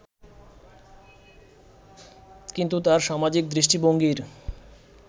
কিন্তু তাঁর সামাজিক দৃষ্টিভঙ্গির